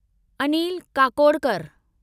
Anil Kakodkar